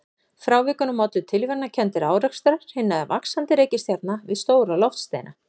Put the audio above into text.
Frávikunum ollu tilviljanakenndir árekstrar hinna vaxandi reikistjarna við stóra loftsteina.